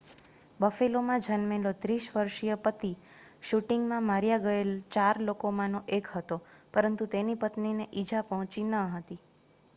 બફેલોમાં જન્મેલો 30 વર્ષીય પતિ શૂટિંગમાં માર્યા ગયેલા ચાર લોકોમાંનો એક હતો પરંતુ તેની પત્નીને ઇજા પહોંચી ન હતી